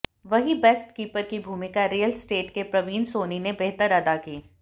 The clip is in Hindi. वही बेस्ट कीपर की भूमिका रियल स्टेट के प्रवीण सोनी ने बेहतर अदा की